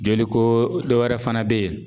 Joliko dɔ wɛrɛ fana be ye